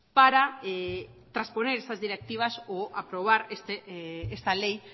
para trasponer estas directivas o aprobar esta ley